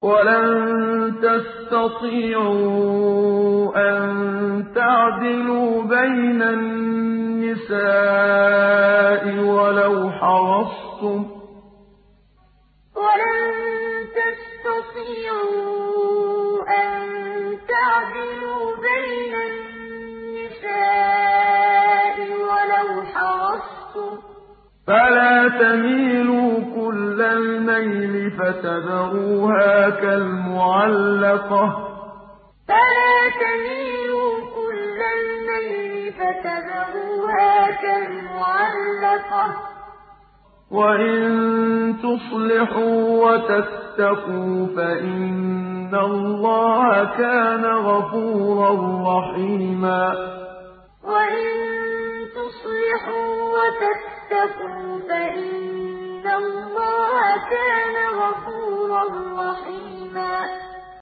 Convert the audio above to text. وَلَن تَسْتَطِيعُوا أَن تَعْدِلُوا بَيْنَ النِّسَاءِ وَلَوْ حَرَصْتُمْ ۖ فَلَا تَمِيلُوا كُلَّ الْمَيْلِ فَتَذَرُوهَا كَالْمُعَلَّقَةِ ۚ وَإِن تُصْلِحُوا وَتَتَّقُوا فَإِنَّ اللَّهَ كَانَ غَفُورًا رَّحِيمًا وَلَن تَسْتَطِيعُوا أَن تَعْدِلُوا بَيْنَ النِّسَاءِ وَلَوْ حَرَصْتُمْ ۖ فَلَا تَمِيلُوا كُلَّ الْمَيْلِ فَتَذَرُوهَا كَالْمُعَلَّقَةِ ۚ وَإِن تُصْلِحُوا وَتَتَّقُوا فَإِنَّ اللَّهَ كَانَ غَفُورًا رَّحِيمًا